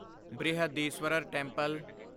Brihadeeswarar temple